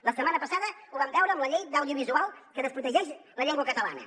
la setmana passada ho vam veure amb la llei d’audiovisual que desprotegeix la llengua catalana